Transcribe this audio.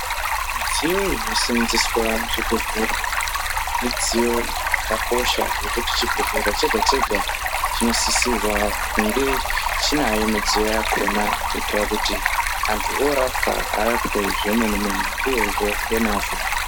Midziyo inoseenzeswa muzvibhedhlera, midziyo yakakosha, nokuti chibhedhlera chega-chega chinosisirwa kunge chinayo midziyo yakona ,kuyitira kuti antu orapiwa ,arapwe zvemene-mene uyezve ngemwazvo.